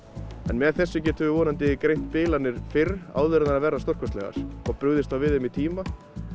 með þessum getum við vonandi greint bilanir fyrr áður en þær verða stórkostlegar og brugðist þá við þeim í tíma